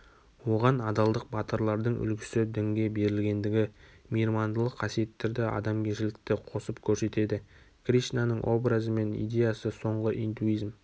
оған адалдық батырлардың үлгісі дінге берілгендігі мейірмандылық қасиеттерді адамгершілікті қосып көрсетеді кришнаның образы мен идеясы соңғы индуизм